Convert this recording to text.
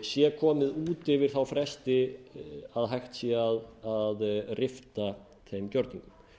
sé komið út yfir þá fresti að hægt sé að rifta þeim gjörningum